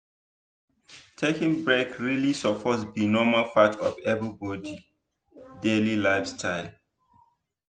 taking break really suppose be normal part of everybody daily lifestyle.